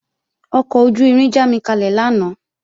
Ọkọ̀ ojú-irin jámikalẹ̀ lánàá